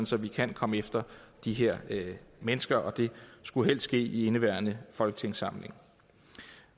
så vi kan komme efter de her mennesker og det skulle helst ske i indeværende folketingssamling